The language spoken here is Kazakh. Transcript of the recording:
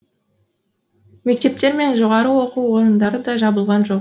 мектептер мен жоғары оқу орындары да жабылған жоқ